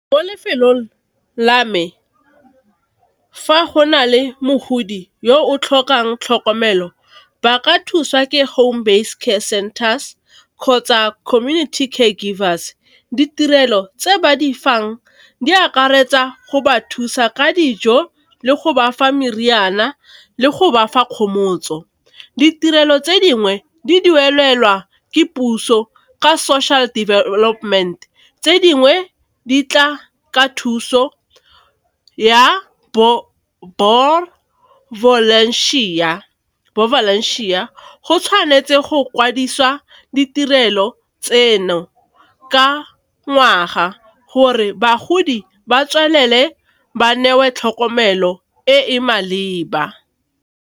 Mo lefelong la me fa go na le mogodi yo o tlhokang tlhokomelo, ba ka thusiwa ke home based care centers, kgotsa community care givers. Ditirelo tse ba di fang di akaretsa go ba thusa ka dijo, le go ba fa meriana, le go ba fa kgomotso. Ditirelo tse dingwe di duelelwa ke puso ka social development, tse dingwe di tla ka thuso ya . Go tshwanetse go kwadisiwa ditirelo tseno ka ngwaga gore bagodi ba tswelele ba newe tlhokomelo e e maleba.